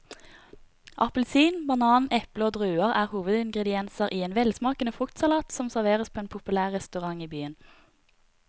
Appelsin, banan, eple og druer er hovedingredienser i en velsmakende fruktsalat som serveres på en populær restaurant i byen.